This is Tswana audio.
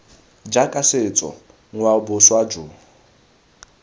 jaaka setso ngwao boswa jo